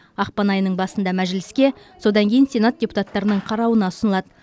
ақпан айының басында мәжіліске содан кейін сенат депутаттарының қарауына ұсынылады